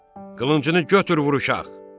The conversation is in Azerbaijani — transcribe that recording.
Qılıncını götür vur uşaq.